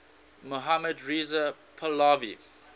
mohammad reza pahlavi